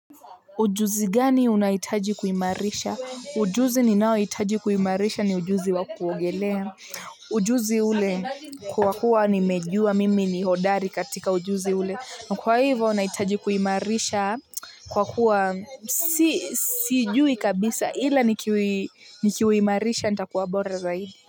Ujuzi gani unahitaji kuimarisha? Ujuzi ni nao hitaji kuimarisha ni ujuzi wa kuogelea. Ujuzi ule kwa kuwa nimejua mimi ni hodari katika ujuzi ule. Na kwa hivyo nahitaji kuimarisha kwa kuwa sijui kabisa ila nikiuimarisha nitakuwa bora zaidi.